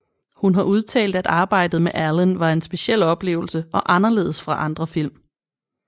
Hun har udtalt at arbejdet med Allen var en speciel oplevelse og anderledes fra andre film